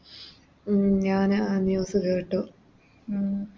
ഉം ഞാനാ News കേട്ട്